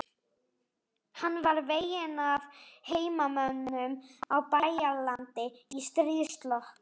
Hann var veginn af heimamönnum á Bæjaralandi í stríðslok.